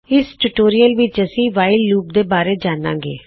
ਇਸ ਟਿਊਟੋਰਿਯਲ ਵਿੱਚ ਅਸੀਂ ਵਾਇਲ ਲੂਪ ਬਾਰੇ ਜਾਨਾਂਗੇ